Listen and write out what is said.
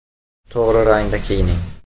To‘g‘ri rangda kiyining.